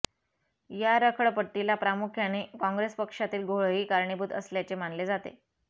या रखडपट्टीला प्रामुख्याने काँग्रेसपक्षातील घोळही कारणीभूत असल्याचे मानले जाते